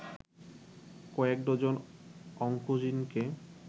কয়েক ডজন অংকোজিনকে